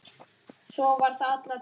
Svo var það alla tíð.